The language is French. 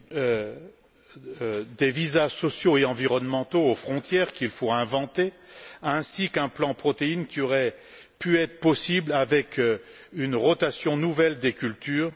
Comme le seraient des visas sociaux et environnementaux aux frontières qu'il faut inventer, ainsi qu'un plan protéines qui aurait pu être possible avec une rotation nouvelle des cultures.